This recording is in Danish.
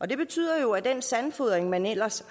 det betød jo at den sandfodring man ellers